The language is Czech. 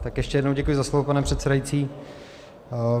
Tak ještě jednou děkuji za slovo, pane předsedající.